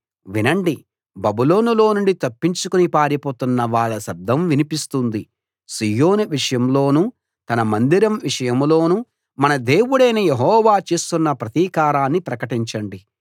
వినండి బబులోనులో నుండి తప్పించుకుని పారిపోతున్న వాళ్ళ శబ్దం వినిపిస్తుంది సీయోను విషయంలోనూ తన మందిరం విషయంలోనూ మన దేవుడైన యెహోవా చేస్తున్న ప్రతీకారాన్ని ప్రకటించండి